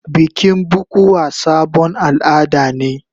Bikin bukuwa sabon al'ada ne.